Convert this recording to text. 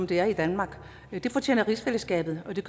det er i danmark det fortjener rigsfællesskabet og det